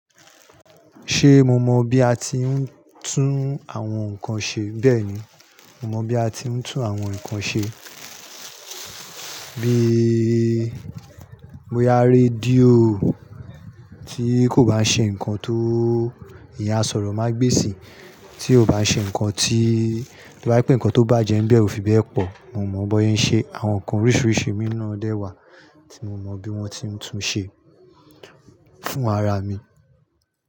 Ṣé mo mọ bí a tí ń tún àwọn nǹkan ṣe? Bẹ́ẹ̀ni, mo mọ bí a tí ń tún àwọn nǹkan ṣe. Bíi bóya rédíò tí kò bá ṣe nǹkan tó ìyẹn asọ̀rọ̀magbèsì, tí ò bá ṣe nǹkan tí, to ba í pé nǹkan tó bàjẹ́ ń bẹ ò fi bẹ́ẹ̀ pọ̀. Mo mọ bọhe ń ṣe, àwọn nǹkan oríṣiríṣi mì na dẹ́ wà tí mo mọ bí wọ́n ti ń tun ṣe fún ara mi.